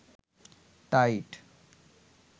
tight